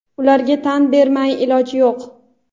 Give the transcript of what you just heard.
ularga tan bermay iloj yo‘q!.